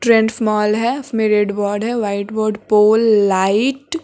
trends mall है उसमें red board है व्हाइट बोर्ड पोल लाइट --